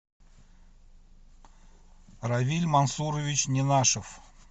равиль мансурович ненашев